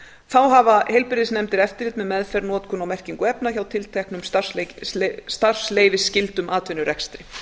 þá hafa heilbrigðisnefndir eftirlit með meðferð notkun og merkingu efna hjá tilteknum starfsleyfisskyldum atvinnurekstri